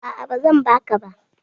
A'a, ba zan baka ba